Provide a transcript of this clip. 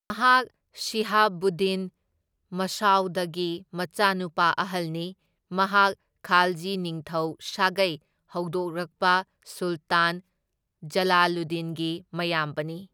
ꯃꯍꯥꯛ ꯁꯤꯍꯥꯕꯨꯗꯗꯤꯟ ꯃꯁꯎꯗꯀꯤ ꯃꯆꯥꯅꯨꯄꯥ ꯑꯍꯜꯅꯤ, ꯃꯍꯥꯛ ꯈꯥꯜꯖꯤ ꯅꯤꯡꯊꯧ ꯁꯥꯒꯩ ꯍꯧꯗꯣꯔꯛꯄ ꯁꯨꯜꯇꯥꯟ ꯖꯂꯥꯂꯨꯗꯗꯤꯟꯒꯤ ꯃꯌꯥꯝꯕꯅꯤ꯫